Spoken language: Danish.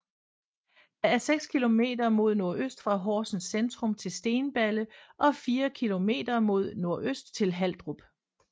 Der er 6 km mod NØ fra Horsens centrum til Stenballe og 4 km mod NØ til Haldrup